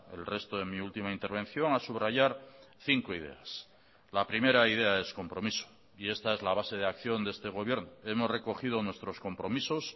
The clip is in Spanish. el resto de mi última intervención a subrayar cinco ideas la primera idea es compromiso y esta es la base de acción de este gobierno hemos recogido nuestros compromisos